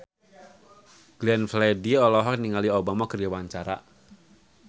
Glenn Fredly olohok ningali Obama keur diwawancara